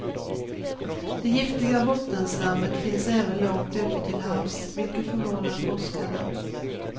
Det giftiga bottenslammet finns även långt ut till havs, vilket förvånar forskarna.